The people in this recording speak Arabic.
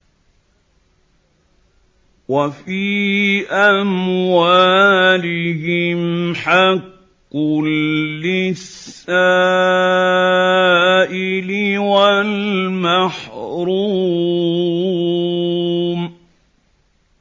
وَفِي أَمْوَالِهِمْ حَقٌّ لِّلسَّائِلِ وَالْمَحْرُومِ